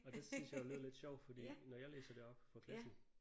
Og det syntes jeg jo lød lidt sjovt fordi når jeg læser det op for klassen